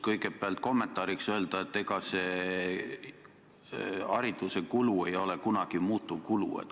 Kõigepealt aga ütlen kommentaariks, et hariduse kulu ei ole kunagi muutuvkulu.